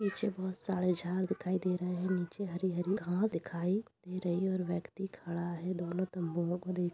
पीछे बहुत सारे झाड़ दिखाई दे रहें हैं नीचे हरी-हरी घांस दिखाई दे रही है और व्यक्ति खड़ा है दोनों तम्बुओं को देख --